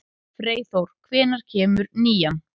Freyþór, hvenær kemur nían?